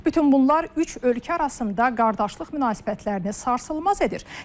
Bütün bunlar üç ölkə arasında qardaşlıq münasibətlərini sarsılmaz edir.